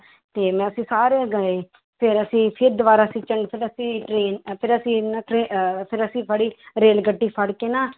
ਤੇ ਅਸੀ ਸਾਰੇ ਗਏ ਫਿਰ ਅਸੀਂ ਫਿਰ ਦੁਬਾਰਾ ਫਿਰ ਅਸੀਂ train ਫਿਰ ਅਸੀਂ ਫਿਰ ਅਸੀਂ ਫੜੀ ਰੇਲ ਗੱਡੀ ਫੜ ਕੇ ਨਾ